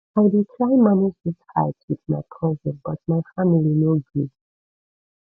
i dey try manage dis fight wit my cousin but my family no gree